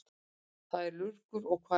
Hvað er lurgur og hvar er hann?